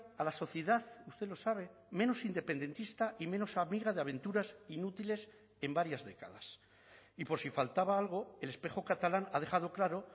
a la sociedad usted lo sabe menos independentista y menos amiga de aventuras inútiles en varias décadas y por si faltaba algo el espejo catalán ha dejado claro